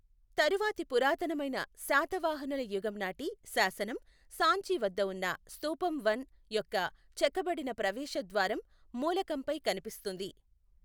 తరువాతి పురాతనమైన శాతవాహనుల యుగం నాటి శాసనం, సాంచి వద్ద ఉన్న స్థూపం వన్ యొక్క చెక్కబడిన ప్రవేశద్వారం మూలకంపై కనిపిస్తుంది.